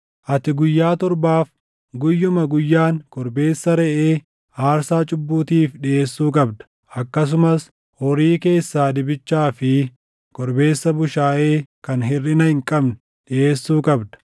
“Ati guyyaa torbaaf guyyuma guyyaan korbeessa reʼee aarsaa cubbuutiif dhiʼeessuu qabda; akkasumas horii keessaa dibichaa fi korbeessa bushaayee kan hirʼina hin qabne dhiʼeessuu qabda.